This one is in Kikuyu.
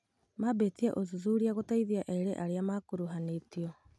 Maambĩtie ũthuthuria gũteithia eerĩ arĩa makuruhanĩtio